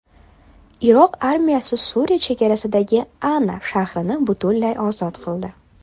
Iroq armiyasi Suriya chegarasidagi Ana shahrini butunlay ozod qildi.